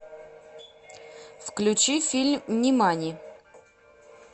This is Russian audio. включи фильм нимани